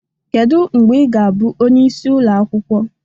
Kedu mgbe ị ga-abụ onyeisi ụlọ akwụkwọ?